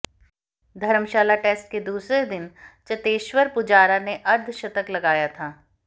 धर्मशाला test के दूसरे दिन चतेश्वर पुजारा ने अर्धशतक लगाया था